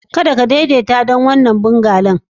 Kada ka daidaita don wannan bungalow.